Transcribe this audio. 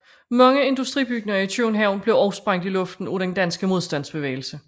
Mange industribygninger i København blev også sprængt i luften af den danske modstandsbevægelse